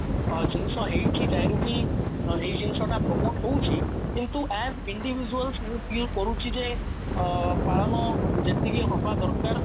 ଅ ଜିନିଷ ହେଇଛି ଯାହାକୁ କି ଏଇ ଜିନିଷ ଟା promote ହଉଛି କିନ୍ତୁ as individual କରୁଛି ଯେ ଅ ପାଳନ ଯେତିକି ହବା ଦରକାର